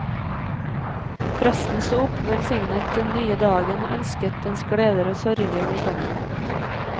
Presten sto opp, velsignet denne nye dagen, og ønsket dens gleder og sorger velkommen.